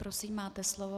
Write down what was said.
Prosím, máte slovo.